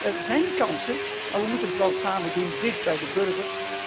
Dus er zijn kansen, maar wij moeten het wel samen doen dicht bij de burger.